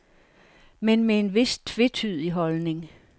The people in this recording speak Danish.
Men med en vis tvetydig holdning.